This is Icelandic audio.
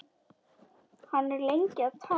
Hann er lengi að tala.